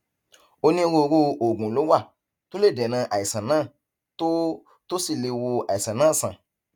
onírúurú oògùn ló wà tó lè dènà àìsàn náà tó tó sì lè wo àìsàn náà sàn